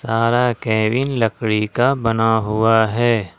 सारा केविन लकड़ी का बना हुआ है।